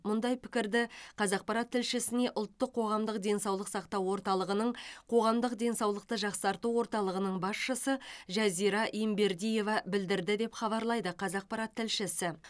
мұндай пікірді қазақпарат тілшісіне ұлттық қоғамдық денсаулық сақтау орталығының қоғамдық денсаулықты жақсарту орталығының басшысы жазира ембердиева білдірді деп хабарлайды қазақпарат тілшісі